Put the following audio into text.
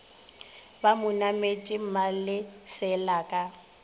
ba mo nametše malesela ka